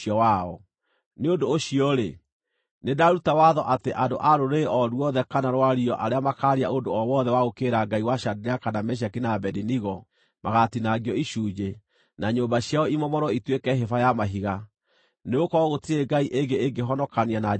Nĩ ũndũ ũcio-rĩ, nĩndaruta watho atĩ andũ a rũrĩrĩ o ruothe kana rwario arĩa makaaria ũndũ o wothe wa gũũkĩrĩra Ngai wa Shadiraka, na Meshaki, na Abedinego magatinangio icunjĩ, na nyũmba ciao imomorwo ituĩke hĩba ya mahiga, nĩgũkorwo gũtirĩ ngai ĩngĩ ĩngĩhonokania na njĩra ĩno.”